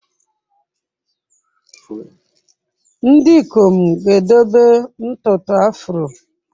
Ndị ikom ga-edebe ntutu afro.